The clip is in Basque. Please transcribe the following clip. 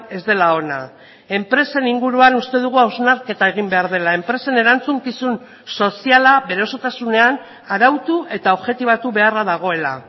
ez dela ona enpresen inguruan uste dugu hausnarketa egin behar dela enpresen erantzukizun soziala bere osotasunean arautu eta objetibatu beharra dagoela